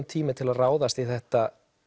tími til að ráðast í þetta